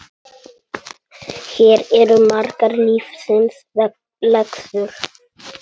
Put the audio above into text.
Hér eru margar lífsins lexíur.